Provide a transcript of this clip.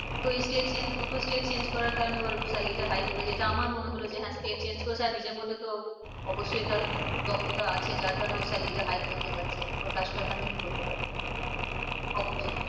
তো এই state দুটো state change করার কারণে ওর salary টা high হলো যেটা আমার মনে হলো যে হ্যাঁ state change করেছে আর নিজের মধ্যে তো অবশ্যই তার দক্ষতা আছে যার কারণে ওর salary টা high করতে পারছে। বা কাজটা continue করতে পারছে। অবশ্যই